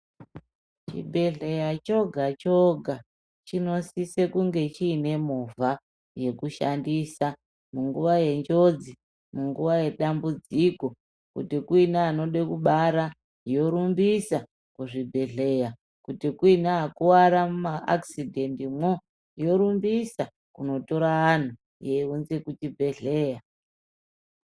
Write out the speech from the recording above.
Chibhedhleya choga choga chinosise kunge chiine movha yekushandisa munguwa yenjodzi munguwa yedambudziko kuti kuine anoda kubara yorumbisa kuchibhedhlera. Kuti kuine akuvara mumaakisidhendimwo yorumbisa kunotora antu yeiunza kuchibhedhlera.